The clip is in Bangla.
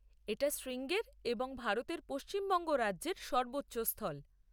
এটা শৃঙ্গের এবং ভারতের পশ্চিমবঙ্গ রাজ্যের সর্বোচ্চ স্থল।